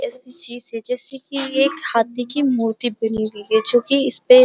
के लिए हाथी की मूर्ति बनी हुई है जो कि इसपे --